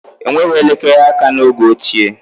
Enweghị elekere aka n'oge ochie